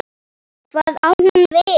Hvað á hún við?